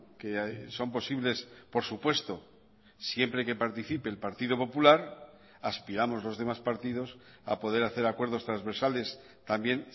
que son posibles por supuesto siempre que participe el partido popular aspiramos los demás partidos a poder hacer acuerdos transversales también